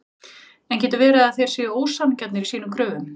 En getur verið að þeir séu ósanngjarnir í sínum kröfum?